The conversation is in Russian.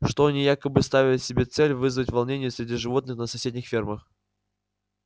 что они якобы ставят себе целью вызвать волнения среди животных на соседних фермах